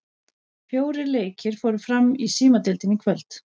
Fjórir leikir fóru fram í Símadeildinni í kvöld.